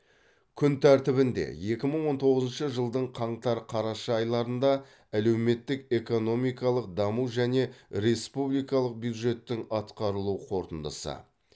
күн тәртібінде екі мың он тоғызыншы жылдың қаңтар қараша айларында әлеуметтік экономикалық даму және республикалық бюджеттің атқарылу қорытындысы